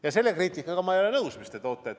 Ja selle kriitikaga ma ei ole nõus, mis te toote.